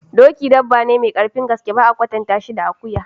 Doki dabba ne karfin gaske, ba a kwatanta shi da akuya.